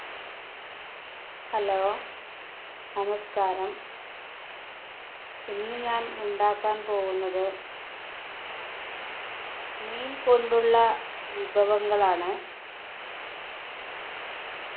hello നമസ്കാരം ഇന്ന് ഞാൻ ഉണ്ടാക്കാൻ പോകുന്നത് മീൻ കൊണ്ടുള്ള വിഭവങ്ങളാണ്